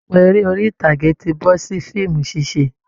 Ọ̀pọ̀ eré orí ìtàgé ti bọ́ sí fíìmù ṣíṣe